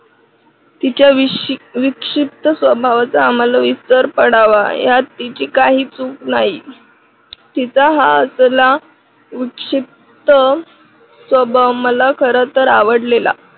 तिच्या विक्षिप्त स्वभावाचा आम्हाला विस्तार पडावा यात तिची काही चुक नाही. तिचा हा असला विक्षिप्त स्वभाव मला खरंतर आवडलेला.